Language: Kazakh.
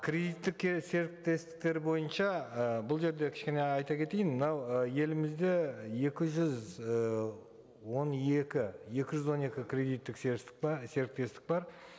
кредиттік серіктестіктер бойынша ы бұл жерде кішкене айта кетейін мынау ы елімізде екі жүз ы он екі екі жүз он екі кредиттік серіктестік бар